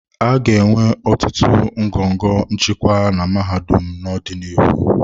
A ga-enwe ọtụtụ ngọngọ nchịkwa na mahadum n'ọdịnihu.